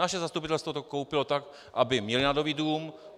Naše zastupitelstvo to koupilo tak, aby měli na nový dům.